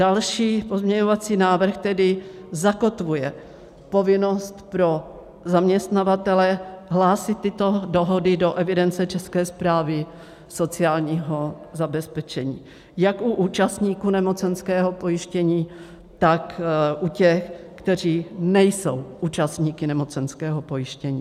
Další pozměňovací návrh tedy zakotvuje povinnost pro zaměstnavatele hlásit tyto dohody do evidence České správy sociálního zabezpečení jak u účastníků nemocenského pojištění, tak u těch, kteří nejsou účastníky nemocenského pojištění.